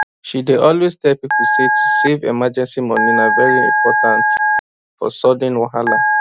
she dey always tell people say to save emergency money na very important for sudden wahala